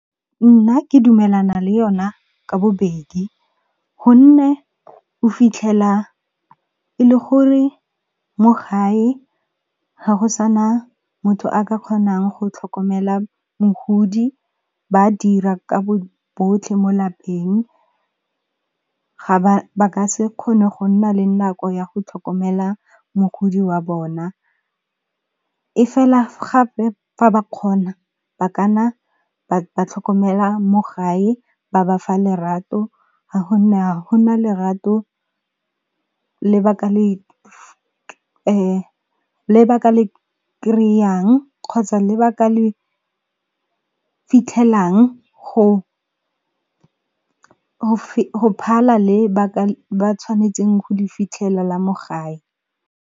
Nna ke dumelana le yona ka bobedi, gonne o fitlhela e le gore mo gae ga go sana motho a ka kgonang go tlhokomela mogodi, ba dira ka bo botlhe mo lapeng ba ka se kgone go nna le nako ya go tlhokomela mogodi wa bona. E fela gape fa ba kgona ba ka nna ba tlhokomela mo gae ba bafa lerato ha ho na lerato le ba ka le kry-ang kgotsa le ba ka le fitlhelang ho phala le ba tshwanetseng go le fitlhela la mo gae.